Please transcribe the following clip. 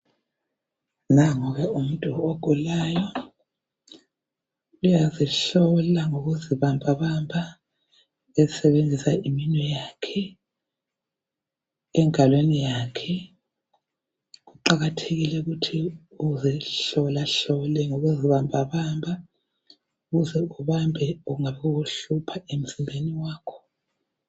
Nangu ke umuntu ogulayo, uyazihlola ngokuzibambabamba esebenzisa iminwe yakhe engalweni yakhe , kuqakathekile ukuthi uzihlolahlole ngokuzibambabamba ukuze ubambe kunga okukuhlupha emzimbeni wakho